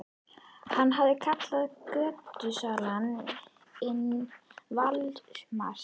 Hann hafði kallað götusalann vin Valdimars.